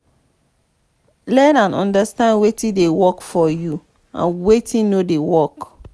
learn and understand wetin dey work for you and wetin no dey work